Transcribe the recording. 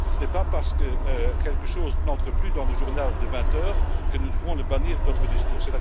Ce n'est pas parce que quelque chose n'entre plus dans le journal de 20 heures que nous devons le bannir de notre discours.